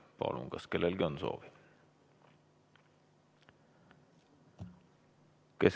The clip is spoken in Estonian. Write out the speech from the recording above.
Palun, kas kellelgi on soovi?